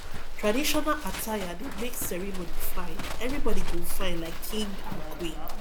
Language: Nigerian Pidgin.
traditional attire dey make ceremony fine everybody go fyn like king and queen